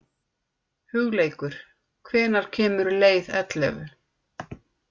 Hugleikur, hvenær kemur leið ellefu?